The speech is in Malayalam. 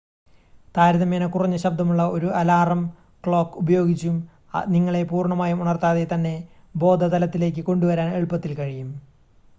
താരതമ്യേന കുറഞ്ഞ ശബ്ദമുള്ള ഒരു അലാറം ക്ലോക്ക് ഉപയോഗിച്ചും നിങ്ങളെ പൂർണ്ണമായും ഉണർത്താതെ തന്നെ ബോധതലത്തിലേക്ക് കൊണ്ടുവരാൻ എളുപ്പത്തിൽ കഴിയും